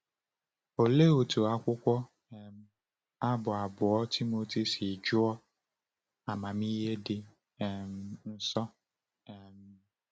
Olee otú akwụkwọ um Abụ abụọ Timoteo si juo amamihe dị um nsọ! um